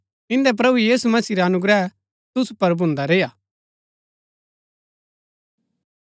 इंदै प्रभु यीशु मसीह रा अनुग्रह तुसु पुर भून्दा रेय्आ